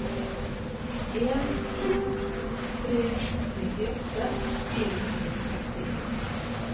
en to to tre nittiåtte fire hundre og sekstien